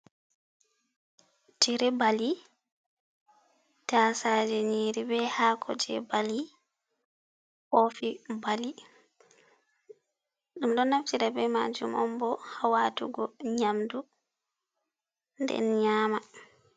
Tire bali, taasaje nyiri be haako jei bali. Kofi bali. En ɗo naftira be maajum on bo ha watugo nyamdu, nden nyaama.